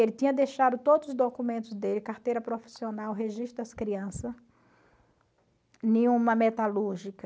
Ele tinha deixado todos os documentos dele, carteira profissional, registro das crianças, uma metalúrgica.